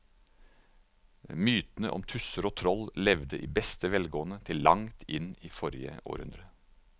Mytene om tusser og troll levde i beste velgående til langt inn i forrige århundre.